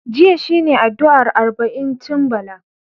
Jiya shi ne addu'ar arba'incin Bala.